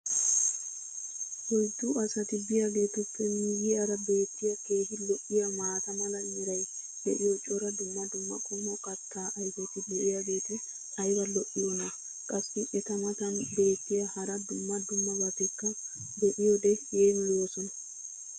oyddu asati biyaageetuppe miyiyaara beetiya keehi lo'iyaa maata mala meray diyo cora dumma dumma qommo kataa ayfeti diyaageti ayba lo'iyoonaa? qassi eta matan beetiya hara dumma dummabatikka be'iyoode yeemmoyoosona.